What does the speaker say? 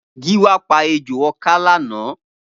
Giwa pà éjó ọkǎ lànã